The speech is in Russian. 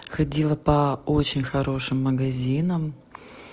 ходила по очень хорошим магазинам